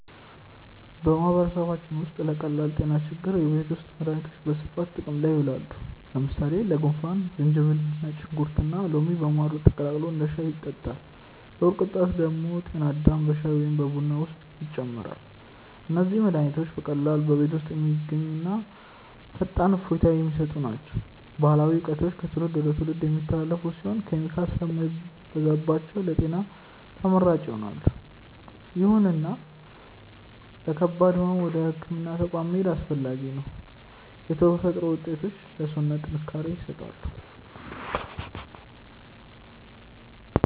በማህበረሰባችን ውስጥ ለቀላል ጤና ችግሮች የቤት ውስጥ መድሃኒቶች በስፋት ጥቅም ላይ ይውላሉ። ለምሳሌ ለጉንፋን ዝንጅብል፣ ነጭ ሽንኩርትና ሎሚ በማር ተቀላቅሎ እንደ ሻይ ይጠጣል። ለሆድ ቁርጠት ደግሞ ጤና አዳም በሻይ ወይም በቡና ውስጥ ይጨመራል። እነዚህ መድሃኒቶች በቀላሉ በቤት ውስጥ የሚገኙና ፈጣን እፎይታ የሚሰጡ ናቸው። ባህላዊ እውቀቶቹ ከትውልድ ወደ ትውልድ የሚተላለፉ ሲሆኑ፣ ኬሚካል ስለማይበዛባቸው ለጤና ተመራጭ ይሆናሉ። ይሁንና ለከባድ ህመም ወደ ህክምና ተቋም መሄድ አስፈላጊ ነው። የተፈጥሮ ውጤቶች ለሰውነት ጥንካሬ ይሰጣሉ።